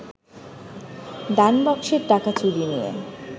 দানবাক্সের টাকা চুরি নিয়ে